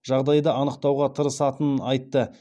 жағдайды анықтауға тырысатынын айтты